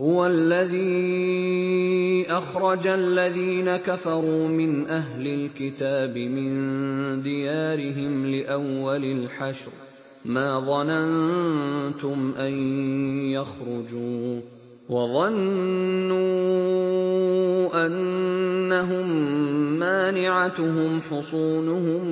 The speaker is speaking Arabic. هُوَ الَّذِي أَخْرَجَ الَّذِينَ كَفَرُوا مِنْ أَهْلِ الْكِتَابِ مِن دِيَارِهِمْ لِأَوَّلِ الْحَشْرِ ۚ مَا ظَنَنتُمْ أَن يَخْرُجُوا ۖ وَظَنُّوا أَنَّهُم مَّانِعَتُهُمْ حُصُونُهُم